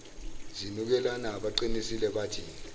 zinukelana baqinisile abathi